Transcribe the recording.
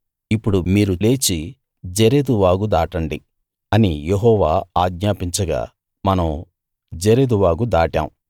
ఇప్పుడు మీరు లేచి జెరెదు వాగు దాటండి అని యెహోవా ఆజ్ఞాపించగా మనం జెరెదు వాగు దాటాం